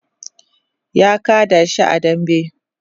ya kada shi a dambe